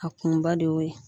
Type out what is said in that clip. A kunba de y'o ye